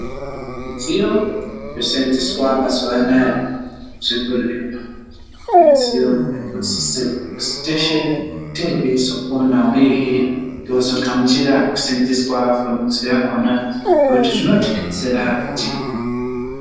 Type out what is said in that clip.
Midziyo yoseenzeswa mazuva anaya muzvibhedhlera midziyo yetinosisirwa kuti teshe tinge teizokona uyehe tozogamuchira kusenzeswa kwemidziyo yakhona, ngekuti zvinotidetsera kuti.